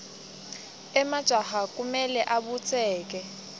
emajaha kumele abutseke